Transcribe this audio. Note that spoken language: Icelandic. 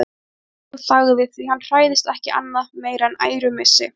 En hann þagði, því hann hræðist ekki annað meira en ærumissi.